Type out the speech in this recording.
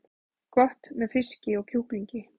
Gott með fiski og kjúklingi